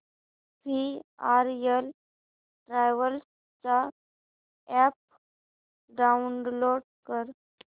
VRL travels चा app download कर